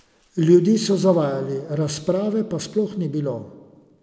Ljudi so zavajali, razprave pa sploh ni bilo.